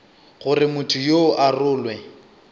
gore motho yoo a rolwe